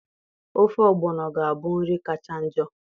Ofe ogbono ga-abụ nri kacha njọ.